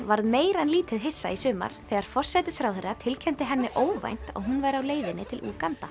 varð meira en lítið hissa í sumar þegar forsætisráðherra tilkynnti henni óvænt að hún væri á leiðinni til Úganda